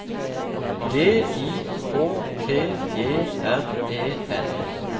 D I K T E R E N